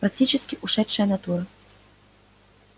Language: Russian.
практически ушедшая натура